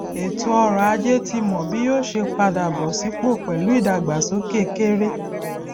ètò ọrọ ajé ti mọ bí yóò ṣe padà bọ sípò pẹlú ìdàgbásókè kéré